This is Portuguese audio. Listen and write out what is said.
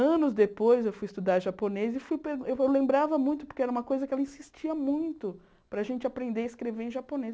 Anos depois eu fui estudar japonês e fui eu lembrava muito, porque era uma coisa que ela insistia muito, para a gente aprender a escrever em japonês.